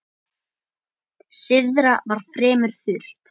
Syðra var fremur þurrt.